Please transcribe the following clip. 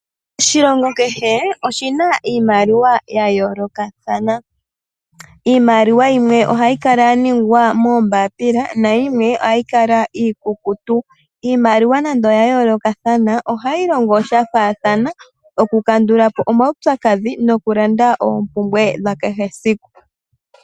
Oshilongo kehe oshina iimaliwa ya yoolokathana, iimaliwa yimwe ohayi kala yaningwa moombapila nayimwe ohayi kala iikukutu. Iimaliwa nande oya yoolokathana ohayi longo shafaathana okukandula po omaupyakadhi nokulanda oompumbwe dhakehe esiku.